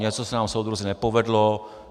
Něco se nám, soudruzi, nepovedlo.